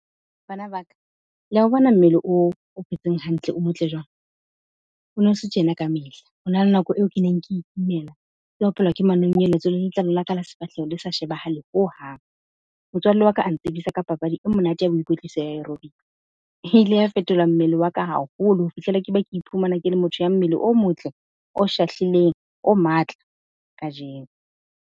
Bana ba ka, le ya o bona mmele oo o phetseng hantle, o motle jwang? O no se tjena kamehla, ho na le nako eo ke neng ke ikimela, ke opelwa ke manonyeletso, le letlalo la ka la sefahleho le sa shebahale hohang. Motswalle wa ka a ntsebisa ka papadi e monate ya ho ikwetlisa ya , e ile ya fetola mmele wa ka haholo ho fihlela ke ba ke iphumana ke le motho ya mmele o motle, o shahlileng, o matla kajeno.